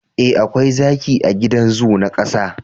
eh akwai zaki a gidan zoo na kasa